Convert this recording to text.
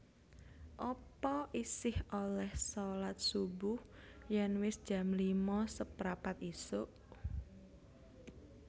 Apa isih oleh solat subuh yen wis jam lima seprapat isuk?